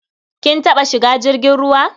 Kin taɓa shiga jirgin ruwa?